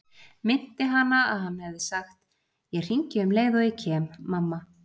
Minnti hana að hann hefði sagt: Ég hringi um leið og ég kem, mamma.